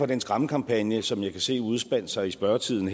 den skræmmekampagne som jeg kan se udspinder sig i spørgetiden